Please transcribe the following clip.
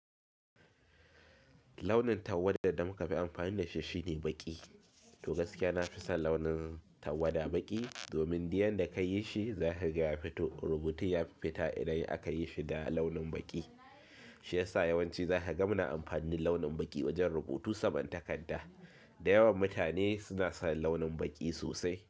Launin tawada da muka fi amfani da shi shine baƙi. To gaskiya nafi son launin tawada baƙi domin diyan da ka yi shi za ka ga ya fito rubutu ya fi fita idan aka yi shi da launin baƙi. Shi ya sa yawanci za ka ga muna amfani launin baƙi wajen rubutu saman takarda. Da yawan mutane suna son launin baƙi sosai.